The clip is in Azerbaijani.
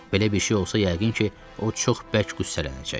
Belə bir şey olsa yəqin ki, o çox bərk qüssələnəcək.